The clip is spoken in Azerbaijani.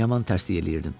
Yaman tərsliy eləyirdim.